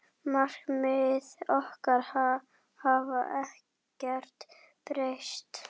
Markmið okkar hafa ekkert breyst.